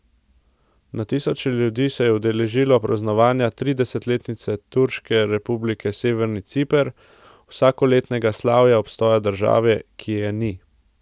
Na tisoče ljudi se je udeležilo praznovanja tridesetletnice Turške republike severni Ciper, vsakoletnega slavja obstoja države, ki je ni.